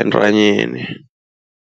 entanyeni.